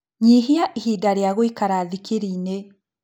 Nyihia ihinda rĩa gũikara thikirini-inĩ